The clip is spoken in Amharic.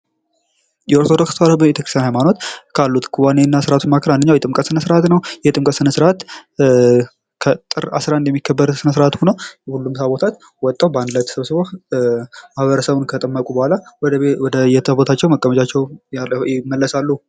የኢትዮጵያ ኦርቶዶክስ ተዋህዶ ቤተክርስቲያን ሃይማኖት ካሉት ክዋኔና ስራዎች መካከል አንዱ የጥምቀት ስርዓት ነው የጥምቀት ስነ-ስርአት ጥቅምት 11 የሚከበር ሲሆን ሁሉም ታቦታት በአንድ ላይ ተሰብስበው ሰውን ከጠመቁ በኋላ ወደ መቀመጫቸው ይመለሳሉ ማለት ነው።